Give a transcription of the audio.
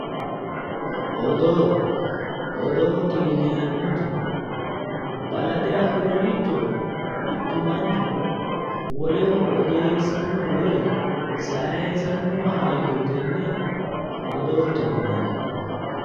Odoo. Odoote yineemmoti balaxe afinoricho mittu manchi woleho odeessanno woyi sayisanno hayyo tenne odoote yinanni.